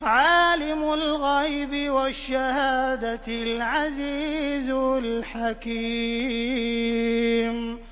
عَالِمُ الْغَيْبِ وَالشَّهَادَةِ الْعَزِيزُ الْحَكِيمُ